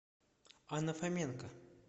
анна фоменко